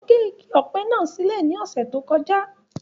Wọ́n gé igi ọ̀pẹ̀ náà sílè ní ọ̀sẹ̀ tó kọjá